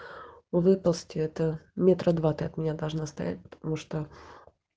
выползти это метра два ты от меня должна стоять потому что